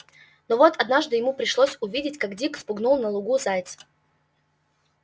но вот однажды ему пришлось увидеть как дик спугнул на лугу зайца